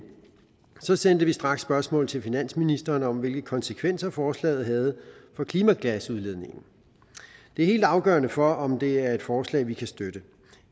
sendte vi straks spørgsmål til finansministeren om hvilke konsekvenser forslaget havde for klimagasudledningen det er helt afgørende for om det er et forslag vi kan støtte